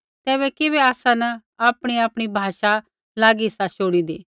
तैबै किबै आसा न आपणीआपणी भाषा लागी सा शुणिदी